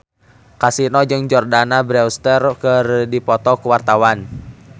Kasino jeung Jordana Brewster keur dipoto ku wartawan